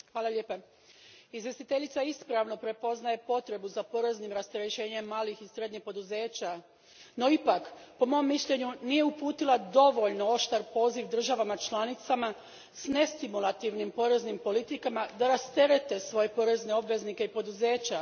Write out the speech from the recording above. Gospodine predsjedniče, izvjestiteljica ispravno prepoznaje potrebu za poreznim rasterećenjem malih i srednjih poduzeća, no ipak, po mom mišljenju, nije uputila dovoljno oštar poziv državama članicama s nestimulativnim poreznim politikama da rasterete svoje porezne obveznike i poduzeća.